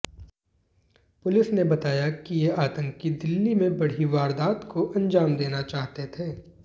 police ने बताया कि ये आतंकी दिल्ली में बढ़ी वारदात को अंजाम देना चाहते थे